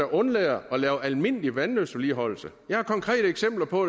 undlader at lave almindelig vandløbsvedligeholdelse jeg har konkrete eksempler på